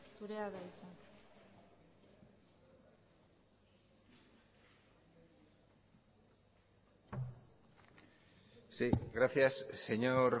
zurea da hitza sí gracias señor